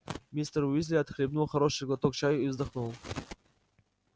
мистер уизли отхлебнул хороший глоток чаю и вздохнул